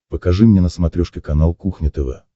покажи мне на смотрешке канал кухня тв